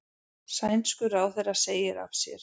Sænskur ráðherra segir af sér